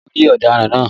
Ṣé o ri ọ̀daràn náà?